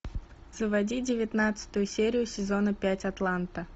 заводи девятнадцатую серию сезона пять атланта